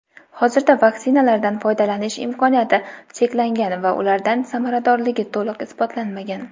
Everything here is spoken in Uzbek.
hozirda vaksinalardan foydalanish imkoniyati cheklangan va ularning samaradorligi to‘liq isbotlanmagan.